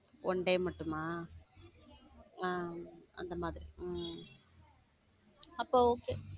Oneday மட்டுமா? அஹ் அந்த மாதிரி உம் அப்போ Okay